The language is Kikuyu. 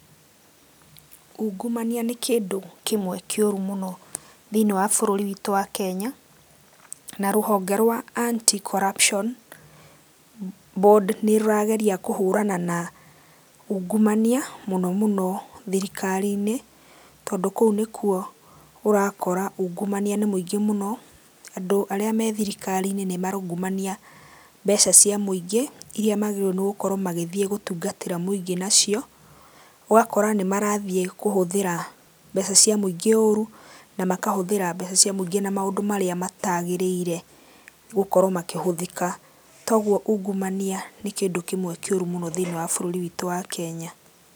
Ungumania nĩ kĩndũ kĩmwe kĩũru mũno, thĩiniĩ wa bũrũri witũ wa Kenya, na rũhonge rwa Anti-Corruption Board nĩrũrageria kũhũrana na ungumania, mũno mũno thirikari-inĩ, tondũ kũu nĩkuo ũrakora ungumania nĩ mũingĩ mũno, andũ arĩa me thirikari-inĩ nĩmaraungumania mbeca cia mũingĩ, iria magĩrĩirũo nĩgũkorũo magĩthiĩ gũtungatĩra mũingĩ nacio, ũgakora nĩmarathiĩ, kũhũthĩra mbeca cia mũingĩ ũru, na makahũthĩra mbeca cia mũingĩ na maũndũ marĩa matagĩrĩire gũkorũo makĩhũthĩka. Togũo ungumania nĩ kĩndũ kĩmwe kĩũru mũno thĩiniĩ wa bũrũri witu wa Kenya.